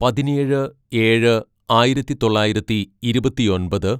"പതിനേഴ് ഏഴ് ആയിരത്തിതൊള്ളായിരത്തി ഇരുപത്തിയൊമ്പത്‌